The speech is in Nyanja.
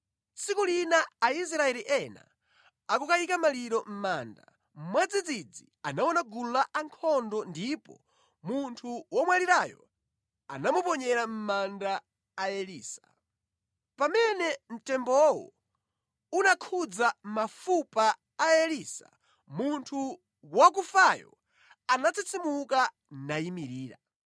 Tsiku lina Aisraeli ena akukayika maliro mʼmanda, mwadzidzidzi anaona gulu lankhondo ndipo munthu womwalirayo anamuponyera mʼmanda a Elisa. Pamene mtembowo unakhudza mafupa a Elisa, munthu wakufayo anatsitsimuka nayimirira.